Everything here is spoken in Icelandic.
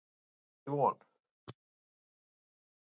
Það er ekki von.